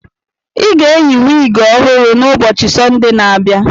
I ga-eyi wiigi ọhụrụ n'ubochi Sọnde na-abịa.